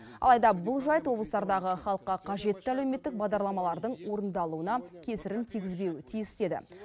алайда бұл жайт облыстардағы халыққа қажетті әлеуметтік бағдарламалардың орындалуына кесірін тигізбеуі тиіс деді